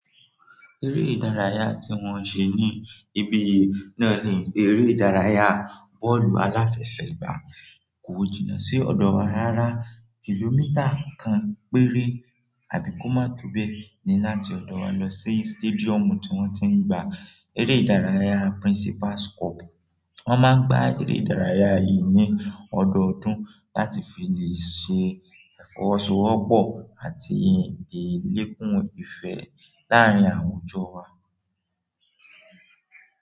Eré ìdárayá tí wọ́n ṣe ní ibi yìí náà ní eré ìdárayá bọ́ọ̀lù aláfẹsẹ̀gbá. Kò jìnnà sí ọ̀dọ̀ wa rára. Kìlómítà kan péré àbí ko ma tó bẹ́ ní láti ọ̀dọ̀ wa lọ sí stadium tí wọ́n ti ń gba eré ìdárayá Principal's Cup. Wọ́n máa ń gba eré ìdárayá yìí ní ọdọọdún láti fi lè ṣe ìfọwọ́sowọ́pọ̀ àti lè yekún ìfẹ́ láàárín àwùjọ wa.